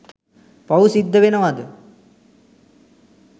පව් සිද්ද වෙනවද?